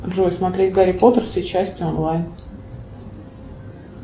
джой смотреть гарри поттер все части онлайн